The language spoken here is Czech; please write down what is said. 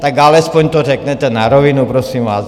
Tak alespoň to řekněte na rovinu, prosím vás.